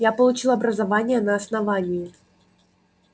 я получил образование на основании